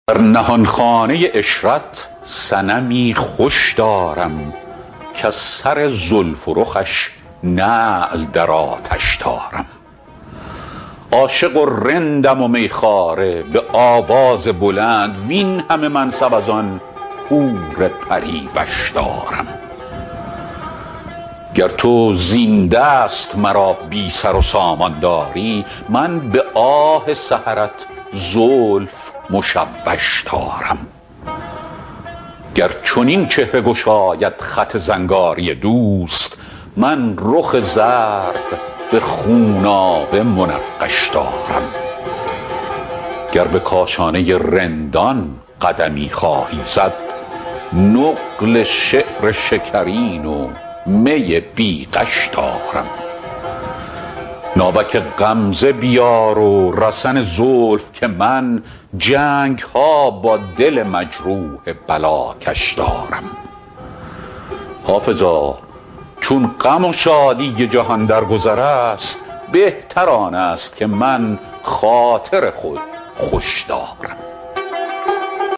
در نهانخانه عشرت صنمی خوش دارم کز سر زلف و رخش نعل در آتش دارم عاشق و رندم و می خواره به آواز بلند وین همه منصب از آن حور پری وش دارم گر تو زین دست مرا بی سر و سامان داری من به آه سحرت زلف مشوش دارم گر چنین چهره گشاید خط زنگاری دوست من رخ زرد به خونابه منقش دارم گر به کاشانه رندان قدمی خواهی زد نقل شعر شکرین و می بی غش دارم ناوک غمزه بیار و رسن زلف که من جنگ ها با دل مجروح بلاکش دارم حافظا چون غم و شادی جهان در گذر است بهتر آن است که من خاطر خود خوش دارم